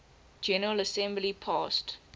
general assembly passed